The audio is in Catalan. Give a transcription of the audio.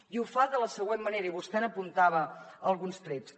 i ho fa de la següent manera i vostè n’apuntava alguns trets